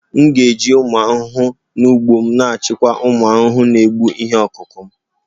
M ga-eji ụmụ ahụhụ n'ugbo m na-achịkwa ụmụ ahụhụ na-egbu ihe ọkụkụ m